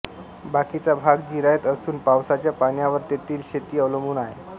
बाकीचा भाग जिरायत असून पावसाच्या पाण्यावर तेथील शेती अवलंबून आहे